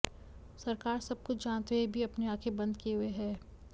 सरकार सब कुछ जानते हुए भी अपनी आंखे बंद किए हुए है